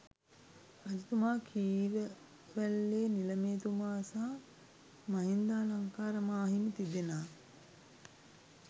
රජතුමා, කීරවැල්ලේ නිළමේතුමා සහ මහින්දාලංකාර මා හිමි, තිදෙනා